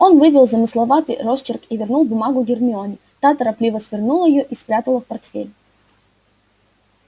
он вывел замысловатый росчерк и вернул бумагу гермионе та торопливо свернула её и спрятала в портфель